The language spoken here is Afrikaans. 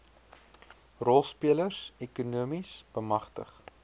rolspelers ekonomies bemagtig